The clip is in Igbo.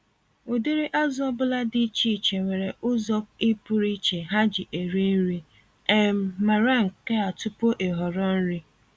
Ụdịrị azụ ọbula dị iche iche nwere ụzọ i pụrụ iche ha ji eri nri- um mara nkea tupu ị họrọ nri.